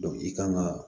i kan ga